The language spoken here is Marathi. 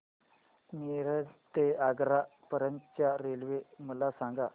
मिरज ते आग्रा पर्यंत च्या रेल्वे मला सांगा